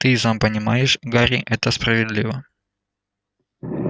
ты и сам понимаешь гарри это справедливо